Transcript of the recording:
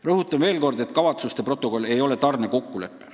" Rõhutan veel kord, et kavatsuste protokoll ei ole tarnekokkulepe.